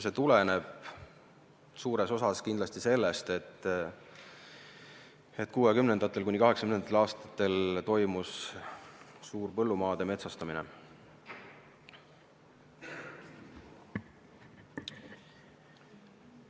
See tuleneb suures osas kindlasti sellest, et 1960.–1980. aastatel toimus suur põllumaade metsastamine.